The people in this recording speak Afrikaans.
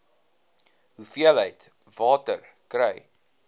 hoeveelheid water kry